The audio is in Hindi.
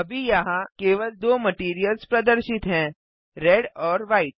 अभी यहाँ केवल दो मटैरियल्स प्रदर्शित हैं रेड एंड व्हाइट